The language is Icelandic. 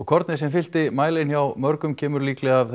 kornið sem fyllti mælin hjá mörgum kemur líklega af